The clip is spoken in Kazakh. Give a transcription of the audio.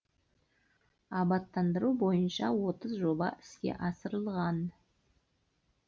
абаттандыру бойынша отыз жоба іске асырылған